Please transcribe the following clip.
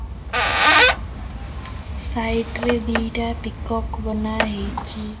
Side ରେ ଦିଟା peacock ବନା ହେଇଚି।